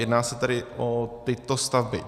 Jedná se tedy o tyto stavby: